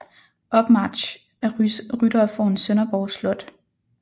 Opmarch af ryttere foran Sønderborg slot